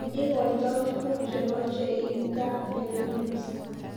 Igoitoi tuguk chemeche iip gaa bepinos